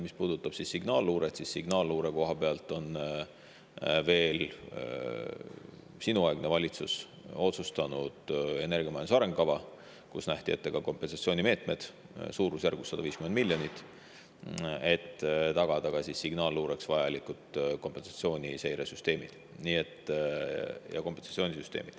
Mis puudutab signaalluuret, siis veel sinuaegne valitsus otsustas seda, et energiamajanduse arengukavas nähti ette ka kompensatsioonimeetmed suurusjärgus 150 miljonit eurot, et tagada signaalluureks vajalikud seiresüsteemid ja kompensatsioonisüsteemid.